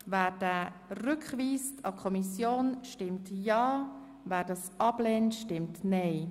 Wer dies an die Kommission zurückweist, stimmt ja, wer das ablehnt, stimmt nein.